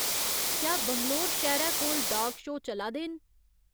क्या बंगलोर शैह्रै कोल डॉग शो चला दे न